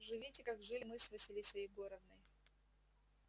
живите как жили мы с василисой егоровной